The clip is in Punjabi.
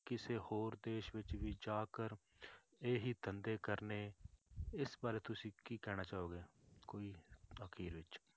ਕਿਸੇ ਹੋਰ ਦੇਸ ਵਿੱਚ ਵੀ ਜਾਕਰ ਇਹੀ ਧੰਦੇ ਕਰਨੇ, ਇਸ ਬਾਰੇ ਤੁੁਸੀਂ ਕੀ ਕਹਿਣਾ ਚਾਹੋਗੇ ਕੋਈ ਅਖ਼ੀਰ ਵਿੱਚ।